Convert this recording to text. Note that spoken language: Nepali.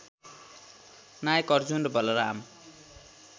नायक अर्जुन र बलराम